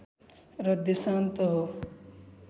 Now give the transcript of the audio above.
र देशान्तर हो